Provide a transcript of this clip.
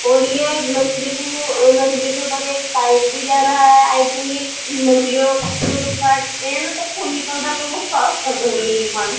और ये एक मछ्ली को मछ्ली के उपर एक पाइप भी जा रहा है। आई थिंक ये मछलियों को जो काटते है ना तब खून निकालता है तो वो साफ़ कर रही हैं दूकान।